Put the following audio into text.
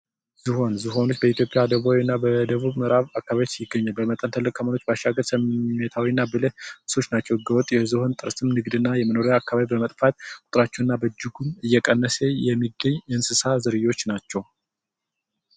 ዝሆን ዝሆን በደቡብ ኢትዮጵያ እና በምዕራብ አካባቢዎች ይገኛል በመጠን ትልቅ በመሆኑ ብልህ እንስሳቶች ናቸው ህገ ወጥ የዝሆን ጥርስን ንግድና የመኖሪያ አካባቢ በመጥፋቱ ቁጥራቸው በእጅጉ እየቀነሰ የመጣ እንስሳት ዝርዮች ናቸው።